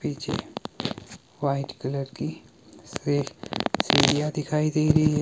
पीछे white colour की से सीढ़ियां दिखाई दे रही है।